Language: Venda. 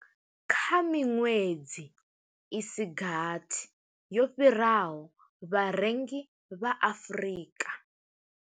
Kha miṅwedzi i si gathi yo fhiraho, vharengi vha Afrika.